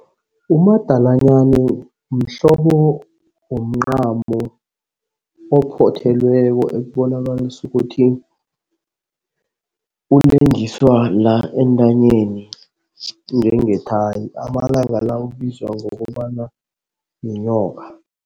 Umadalanyana mhlobo womncamo ophothelweko okubonakalisa ukuthi ulengiswa la entanyeni njengethayi amalanga la ubizwa ngokobana yinyoka.